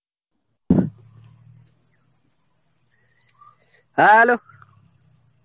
hello.